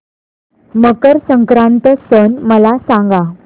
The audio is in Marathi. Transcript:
मकर संक्रांत सण मला सांगा